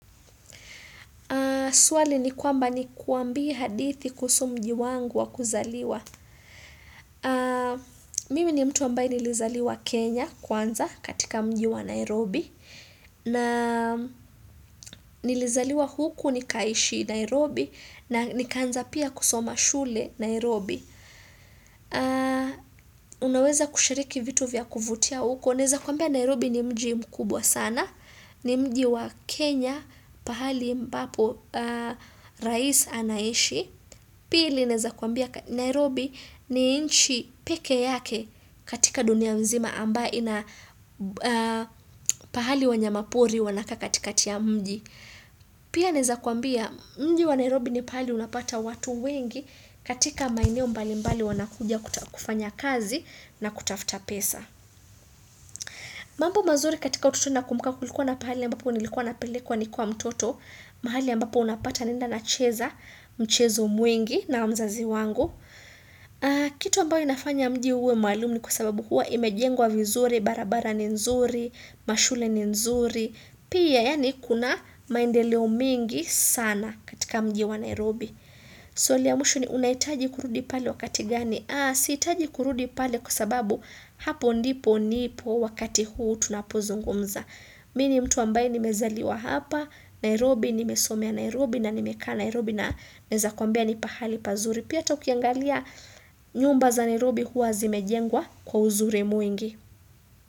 Swali ni kwamba ni kwambie hadithi kuhusu mji wangu wa kuzaliwa. Mimi ni mtu ambaye nilizaliwa Kenya kwanza katika mjiwa Nairobi. Na nilizaliwa huku nikaishi Nairobi na nikanza pia kusoma shule Nairobi. Unaweza kushiriki vitu vya kuvutia huku. Naeza kwambia Nairobi ni mji mkubwa sana, ni mji wa Kenya, pahali mbapo Rais anaishi, pili naeza kuambia Nairobi ni inchi pekee yake katika dunia mzima ambayo ina pahali wanyamapori wanakaa kati ka ti ya mji. Pia naeza kuambia mji wa Nairobi ni pahali unapata watu wengi katika maeneo mbali mbali wanakuja kufanya kazi na kutafuta pesa. Mambo mazuri katika utotoni na kumbuka kulikuwa na pahali ambapo nilikuwa na pelekwa ni kwa mtoto, mahali ambapo unapata naenda na cheza, mchezo mwingi na mzazi wangu. Kitu ambayo inafanya mji uwe maalum ni kwa sababu huwa imejengwa vizuri, barabara ni nzuri, mashule ni nzuri, pia yani kuna maendeleo mingi sana katika mji wa Nairobi. Swali ya mwisho ni unahitaji kurudi pale wakati gani Aa siitaji kurudi pali kwa sababu hapo ndipo nipo wakati huu tunapozungumza Mi ni mtu ambaye nimezaliwa hapa Nairobi nimesomea Nairobi na nimekaa Nairobi na naeza kwambia nipahali pazuri Pia ata ukiangalia nyumba za Nairobi huwa zimejengwa kwa uzur mwingi.